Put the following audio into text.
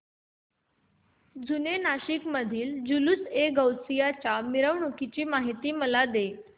जुने नाशिक मधील जुलूसएगौसिया च्या मिरवणूकीची मला माहिती दे